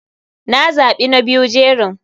Na za bi na biyu jerin.